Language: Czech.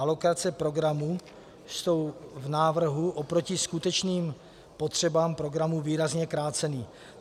Alokace programů jsou v návrhu oproti skutečným potřebám programů výrazně kráceny.